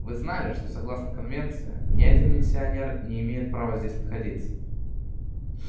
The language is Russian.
вы знали что согласно конвенции ни один миссионер не имеет права здесь находиться